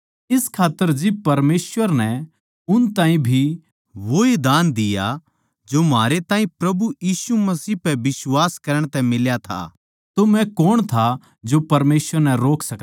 इस खात्तर जिब परमेसवर नै उन ताहीं भी वोए दान दिया जो म्हारै ताहीं प्रभु यीशु मसीह पै बिश्वास करण तै मिल्या था तो मै कौण था जो परमेसवर नै रोक सकदा